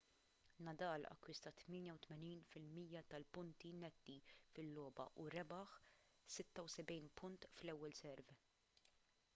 nadal akkwista 88% tal-punti netti fil-logħba u rebaħ 76 punt fl-ewwel serve